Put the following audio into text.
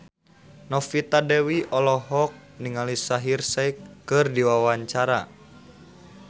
Novita Dewi olohok ningali Shaheer Sheikh keur diwawancara